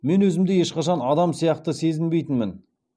мен өзімді ешқашан адам сияқты сезінбейтінмін